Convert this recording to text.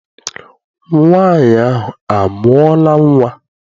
Nwaanyị ahụ amụọla nnwa?